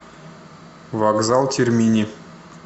вокзал термини